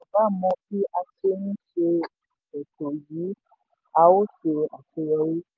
tí gbogbo ènìyàn bá mọ bí a ṣe ń ṣe ètò yìí a ó ṣe àṣeyọrí.